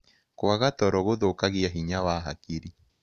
Kwaga toro gũthũkagĩa hinya wa hakĩrĩ